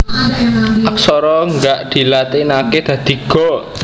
Aksara Ga dilatinaké dadi Ga